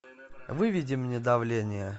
выведи мне давление